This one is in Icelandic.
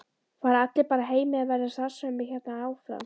Fara allir bara heim eða verður starfsemi hérna áfram?